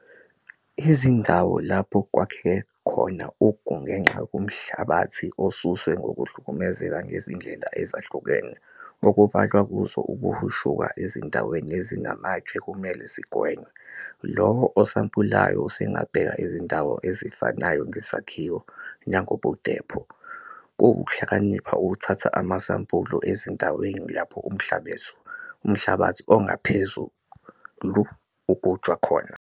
Izindawo lapho kwakheke khona ugu ngenxa yomhlabathi osuswe ngokuhlukumezeka ngezindlela ezahlukene okubalwa kuzo ukuhushuka ezindaweni ezinamatshe kumele zigwenywe. Lowo osampulayo usengabheka izindawo ezifanayo ngesakhiwo nangobudepho. Kuwukuhlakanipha ukuthatha amasampuli ezindaweni lapho umhlabathi ongaphezulu ugujwa khona.